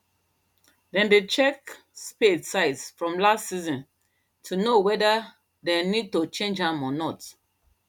them dey check spade size from last season to know weather them need to change am or not